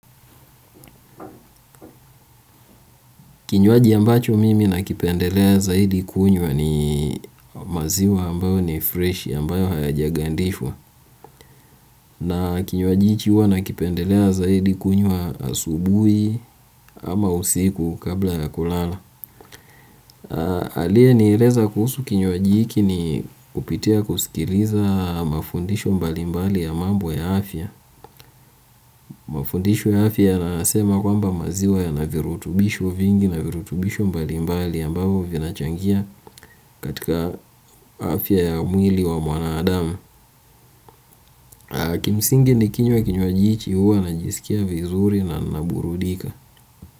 Kinywaji ambacho mimi nakipendelea zaidi kunywa ni maziwa ambayo ni fresh ambayo hayajagandishwa na kinywaji hicho huwa nakipendelea zaidi kunywa asubuhi ama usiku kabla ya kulala. Aliyenieleza kuhusu kinywaji hiki ni kupitia kusikiliza mafundisho mbali mbali ya mambo ya afya mafundisho ya afya yanasema kwamba maziwa yana virutubisho vingi na virutubisho mbali mbali ambao vinachangia katika afya ya mwili wa mwanadamu. Kimsingi nikinywa kinywaji hicho huwa najisikia vizuri na naburudika.